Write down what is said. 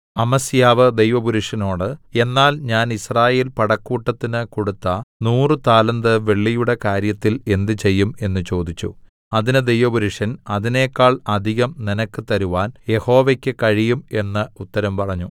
അമസ്യാവ് ദൈവപുരുഷനോട് എന്നാൽ ഞാൻ യിസ്രായേൽ പടക്കൂട്ടത്തിന് കൊടുത്ത നൂറു താലന്ത് വെള്ളിയുടെ കാര്യത്തിൽ എന്ത് ചെയ്യും എന്ന് ചോദിച്ചു അതിന് ദൈവപുരുഷൻ അതിനെക്കാൾ അധികം നിനക്ക് തരുവാൻ യഹോവയ്ക്ക് കഴിയും എന്ന് ഉത്തരം പറഞ്ഞു